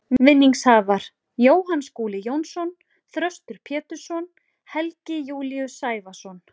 Vinningshafar: Jóhann Skúli Jónsson Þröstur Pétursson Helgi Júlíus Sævarsson